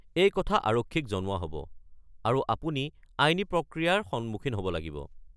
এই কথা আৰক্ষীক জনোৱা হ'ব, আৰু আপুনি আইনী প্ৰক্ৰিয়াৰ সন্মুখীন হ'ব লাগিব।